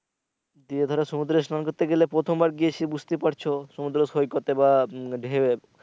গিয়ে ধরো সমুদ্রে স্নান করতে গেলে প্রথমবার গিয়েছি বুঝতে পারছো সমদ্র সৈকতে বা উম ডেউয়ে